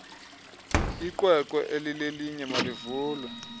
iqweqwe elilelinye malivulwe